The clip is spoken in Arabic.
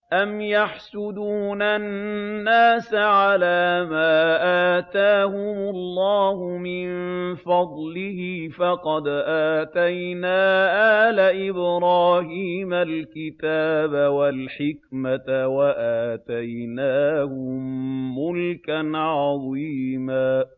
أَمْ يَحْسُدُونَ النَّاسَ عَلَىٰ مَا آتَاهُمُ اللَّهُ مِن فَضْلِهِ ۖ فَقَدْ آتَيْنَا آلَ إِبْرَاهِيمَ الْكِتَابَ وَالْحِكْمَةَ وَآتَيْنَاهُم مُّلْكًا عَظِيمًا